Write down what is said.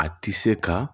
A ti se ka